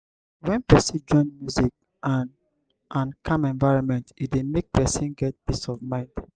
when person join music and and calm environment e dey make person get peace of mind